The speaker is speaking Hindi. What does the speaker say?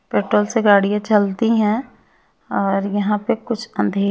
पेट्रोल से गाड़ियां चलती हैं और यहां पे कुछ अंधे--